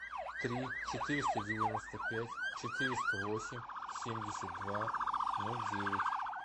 три четыреста девяносто пять четыреста восемь семьдесят два ноль девять